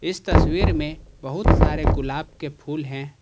इस तस्वीर में बहुत सारे गुलाब के फूल हैं।